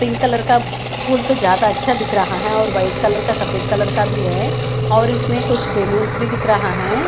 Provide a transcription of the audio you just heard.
Pink colour का फूल तो ज्यादा आछ्या दिख रहा है और व्हाईट कलर का सफ़ेद कलर का भी है और इसमें कुछ बैलून्स भी दिख रहा है.